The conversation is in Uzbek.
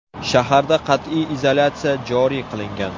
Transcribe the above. Shaharda qat’iy izolyatsiya joriy qilingan.